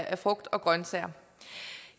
af frugt og grønsager